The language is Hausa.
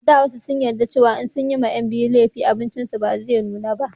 a da wasu sun yarda cewa in sun ma 'yan biyu lefi abincin su ba zai nuna ba